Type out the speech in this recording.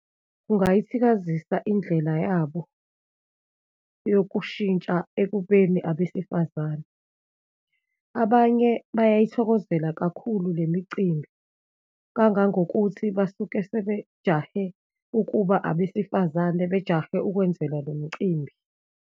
Kungayithikazisa indlela yabo yokushintsha ekubeni abesifazane. Abanye bayayithokozela kakhulu le micimbi, kangangokuthi basuke sebejahe ukuba abesifazane, bajahe ukwenzelwa lo mcimbi.